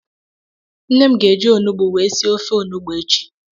Nne m ga-eji ọñụgbụ wee sịe ọfe ọnụgbụ echi.